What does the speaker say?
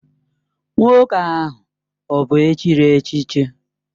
Nwoke ahụ ọ bụ echiri echichi?